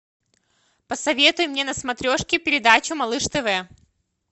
посоветуй мне на смотрешке передачу малыш тв